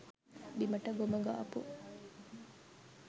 බිමට ගොම ගාපු,